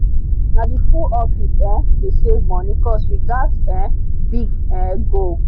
nah the full office um dey save money cause we get um big um goal